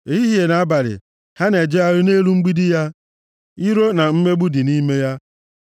Ehihie na abalị, ha na-ejegharị nʼelu mgbidi ya; iro na mmegbu dị nʼime ya.